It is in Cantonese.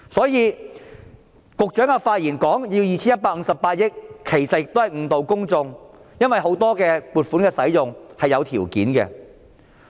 因此，局長發言說要 2,158 億元，其實是誤導公眾，因為很多撥款的使用是有條件的。